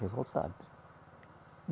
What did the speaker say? Revoltada.